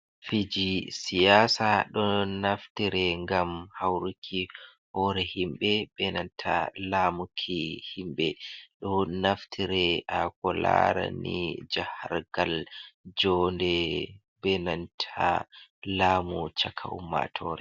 Fiji siyasa do naftire gam hauruki hore himbe benanta lamuki himbe do naftire a ko lara ni jahargal jonde benanta lamu caka ummatore.